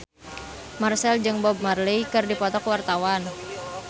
Marchell jeung Bob Marley keur dipoto ku wartawan